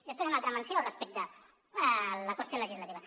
després una altra menció respecte a la qüestió legislativa